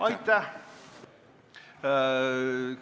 Aitäh!